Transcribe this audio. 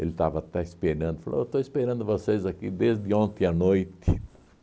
Ele estava até esperando, falou, eu estou esperando vocês aqui desde ontem à noite.